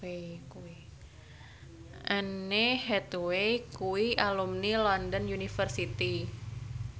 Anne Hathaway kuwi alumni London University